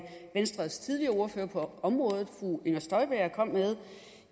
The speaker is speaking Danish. venstres tidligere ordfører på området fru inger støjberg kom med